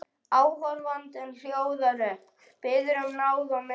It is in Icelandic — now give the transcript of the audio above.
Áhorfandinn hljóðar upp, biður um náð og miskunn.